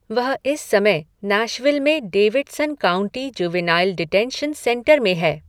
वह इस समय नैशविल में Davidson county juvenile detention centre में है।